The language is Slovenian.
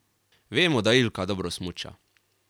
Vemo, da Ilka dobro smuča.